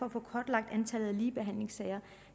at få kortlagt antallet af ligebehandlingssager